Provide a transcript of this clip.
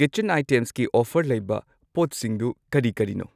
Kitchen ꯑꯥꯢꯇꯦꯝꯁꯀꯤ offer ꯂꯩꯕ ꯄꯣꯠꯁꯤꯡꯗꯨ ꯀꯔꯤ ꯀꯔꯤꯅꯣ?